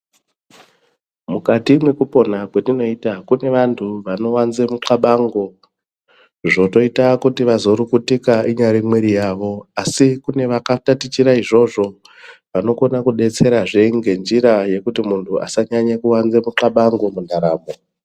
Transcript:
Mukati mwekupona kwetinoita kune vanhtu vanowanza mixabango zvotoita kuti vazorukutika inyari mwiri yavo asi kune vantu vakatatichira izvozvo vanokona kudetserazve ngenjira yekuti munhu asanyanya kuwanza kuxabango mundaramo.